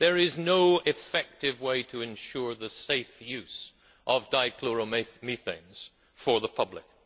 There is no effective way to ensure the safe use of dichloromethanes for the public.